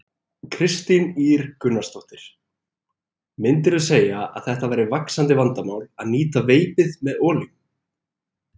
Kristín Ýr Gunnarsdóttir: Myndirðu segja að þetta væri vaxandi vandamál, að nýta veipið með olíum?